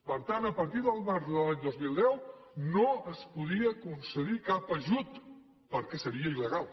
per tant a partir del març de l’any dos mil deu no es podia concedir cap ajut perquè seria il·legal